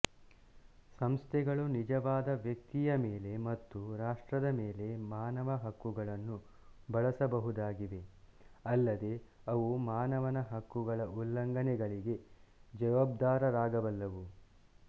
ಸಂಸ್ಥೆಗಳುನಿಜವಾದ ವ್ಯಕ್ತಿಯ ಮೇಲೆ ಮತ್ತು ರಾಷ್ಟ್ರದ ಮೇಲೆ ಮಾನವ ಹಕ್ಕುಗಳನ್ನು ಬಳಸಬಹುದಾಗಿವೆ ಅಲ್ಲದೇ ಅವು ಮಾನವ ಹಕ್ಕುಗಳ ಉಲ್ಲಂಘನೆಗಳಿಗೆ ಜವಾಬ್ದಾರರಾಗಬಲ್ಲವು